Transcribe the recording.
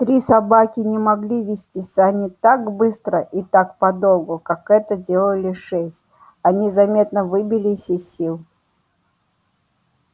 три собаки не могли везти сани так быстро и так подолгу как это делали шесть они заметно выбились из сил